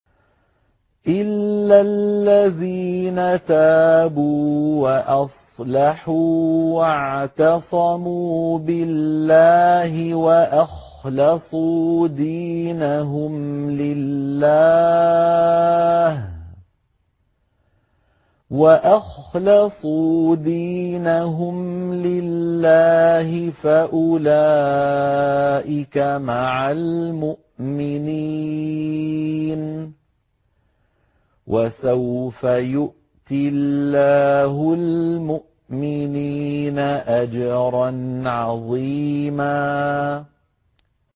إِلَّا الَّذِينَ تَابُوا وَأَصْلَحُوا وَاعْتَصَمُوا بِاللَّهِ وَأَخْلَصُوا دِينَهُمْ لِلَّهِ فَأُولَٰئِكَ مَعَ الْمُؤْمِنِينَ ۖ وَسَوْفَ يُؤْتِ اللَّهُ الْمُؤْمِنِينَ أَجْرًا عَظِيمًا